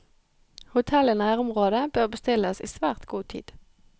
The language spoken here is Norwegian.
Hotell i nærområdet bør bestilles i svært god tid.